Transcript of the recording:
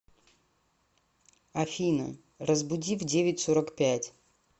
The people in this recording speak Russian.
афина разбуди в девять сорок пять